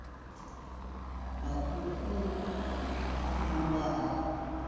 na u u una ha